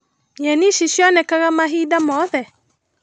Nyeni ici cionekaga mahinda mothe?